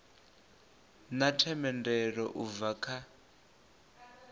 na themendelo u bva kha